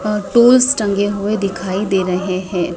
अह tools टंगे हुए दिखाई दे रहे हैं।